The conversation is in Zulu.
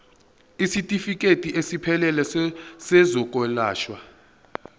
isitifikedi esiphelele sezokwelashwa